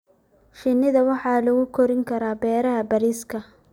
Shinida waxaa lagu korin karaa beeraha bariiska.